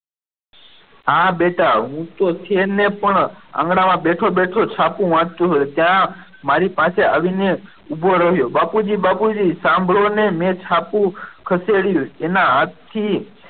હા બેટા હું તો છે ને પણ આંગણામાં બેઠો બેઠો છાપુ વાંચતો હોય ત્યાં મારી પાસે આવીને ઊભો રહ્યો બાપુજી બાપુજી હા બોલોને મેં છાપુ ખસેડ્યું એના હાથથી